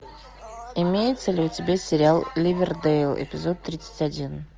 имеется ли у тебя сериал ливердейл эпизод тридцать один